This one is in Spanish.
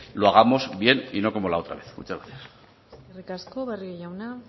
lo hagamos bien y no como la otra vez muchas gracias eskerrik asko barrio jauna